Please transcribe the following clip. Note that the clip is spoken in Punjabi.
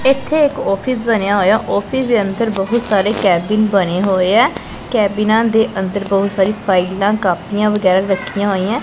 ਏੱਥੇ ਇੱਕ ਔਫਿਸ ਬਨਿਆ ਹੋਇਆ ਔਫਿਸ ਦੇ ਅੰਦਰ ਬਹੁਤ ਸਾਰੇ ਕੈਬਿਨ ਬਣੇ ਹੋਏ ਹੈਂ ਕੈਬਿਨਾਂ ਦੇ ਅੰਦਰ ਬਹੁਤ ਸਾਰੀ ਫਾਈਲਾਂ ਕਾਪੀਆਂ ਵਗੈਰਾ ਰੱਖੀਆਂ ਹੋਈਆਂ।